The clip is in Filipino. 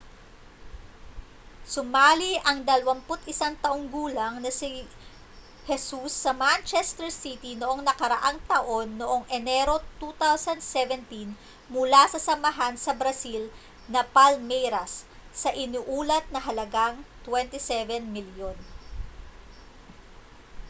sumali ang 21 taong gulang na si jesus sa manchester city noong nakaraang taon noong enero 2017 mula sa samahan sa brazil na palmeiras sa iniulat na halagang â£27 milyon